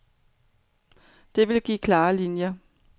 Det ville give klare linier.